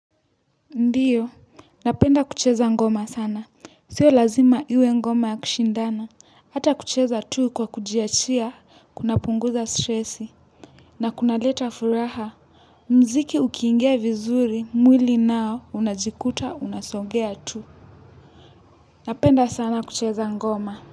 Ndiyo, napenda kucheza ngoma sana, sio lazima iwe ngoma ya kushindana, hata kucheza tu kwa kujiachia, kunapunguza stressi na kunaleta furaha, mziki ukiingia vizuri, mwili nao, unajikuta, unasongea tu napenda sana kucheza ngoma.